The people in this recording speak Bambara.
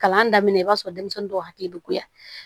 Kalan daminɛ i b'a sɔrɔ denmisɛnnin dɔw hakili bɛ goya